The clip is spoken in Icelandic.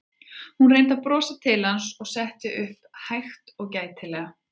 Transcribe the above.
Hún reyndi að brosa til hans og settist svo upp hægt og gætilega.